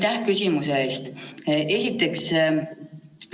Aga minu küsimus ei ole seotud sellega, kuidas või keda süüdistada antud olukorras.